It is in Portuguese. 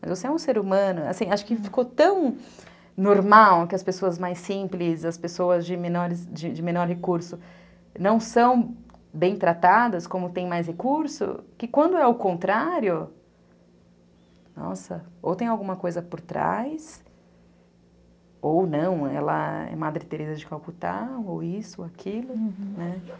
Mas você é um ser humano, assim, acho que ficou tão normal que as pessoas mais simples, as pessoas de menor recurso não são bem tratadas como tem mais recurso, que quando é o contrário, nossa, ou tem alguma coisa por trás, ou não, ela é Madre Teresa de Calcutá, ou isso, ou aquilo, né?